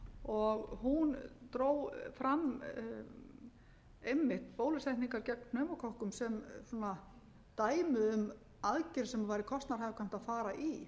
og hún dró fram einmitt bólusetningar gegn pneumókokkum sem dæmi um aðgerð sem væri kostnaðarhagkvæmt að fara í